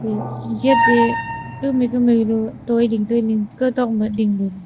gate e kamai kamai loi toiding toiling kotok ma dingpu.